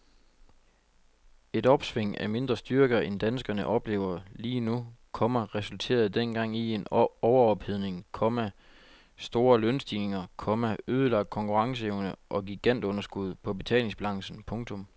Et opsving af mindre styrke end danskerne oplever lige nu, komma resulterede dengang i en overophedning, komma store lønstigninger, komma ødelagt konkurrenceevne og gigantunderskud på betalingsbalancen. punktum